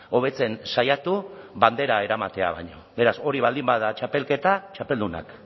hobetzen saiatu bandera eramatea baino beraz hori baldin bada txapelketa txapeldunak